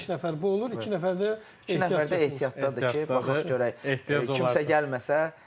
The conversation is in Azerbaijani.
Beş nəfər bu olur, iki nəfər də İki nəfər də ehtiyatdadır ki, baxaq görək kimsə gəlməsə.